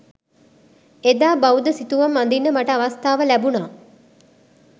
එදා බෞද්ධ සිතුවම් අඳින්න මට අවස්ථාව ලැබුණා